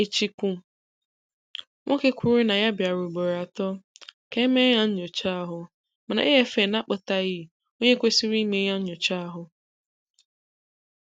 Echiku nwoke kwụrụ na ya bịara ụgboro atọ, ka émeé ya nyochá ahụ, mana AFN ákpotaghi onye kwésịrị ịme ya nyochá ahụ.